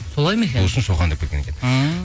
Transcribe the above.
солай ма екен сол үшін шоқан деп кеткен екен ммм